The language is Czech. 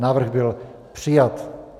Návrh byl přijat.